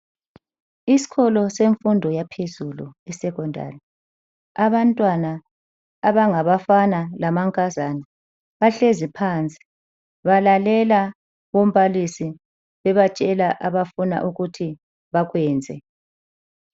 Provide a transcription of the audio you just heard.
Isikolo semfundo yaphezulu, isecondary. Abantwana abangabafana lamankazana bahlezi phansi balalela umbalisi abatshela afuna ukuthi bakwenze.